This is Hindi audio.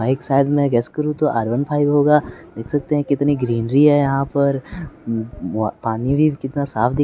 बाइक शायद मैं गेस करूं तो आर वन फाइव होगा देख सकते हैं कितनी ग्रीनरी है यहां पर पानी भी कितना साफ दिख--